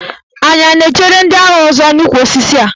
Anyị a na-echere ndị agha ndị ọzọ n'ukwu osisi a?